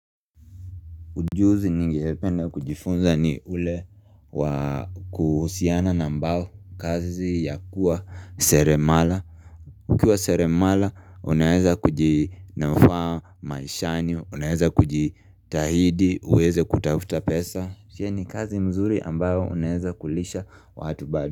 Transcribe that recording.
Ujuzi ninge penda kujifunza ni ule wakuhusiana na ambao kazi ya kuwa seremala Ukiwa seremala unaeza kuji nufaa maishani, unaeza kuji tahidi, uweze kutavuta pesa Shia ni kazi mzuri ambayo unaeza kulisha watu bado.